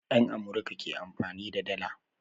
Yan Amurka ke amfani da dalla